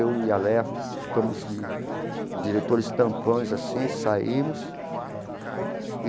Eu e a Léia ficamos de diretores tampões assim, saímos e...